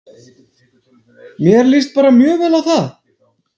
Mér lýst bara mjög vel á það.